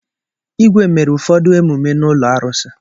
Igwe mere ụfọdụ emume n'ụlọ arụsị.